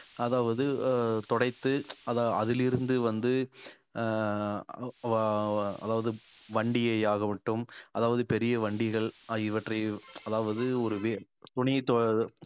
அதாவது அஹ் துடைத்து அத அதிலிருந்து வந்து அஹ் அதாவது வண்டியை ஆகட்டும் அதாவது பெரிய வண்டிகள் ஆகியவற்றை அதாவது ஒரு வேல் துணி து~